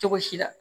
Cogo si la